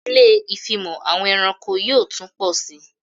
Ilé ìfimọ̀ àwọn ẹranko yóò tún pọ sí